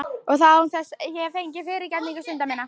Og það án þess ég fengi fyrirgefningu synda minna.